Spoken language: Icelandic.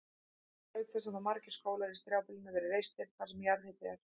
Auk þess hafa margir skólar í strjálbýlinu verið reistir þar sem jarðhiti er.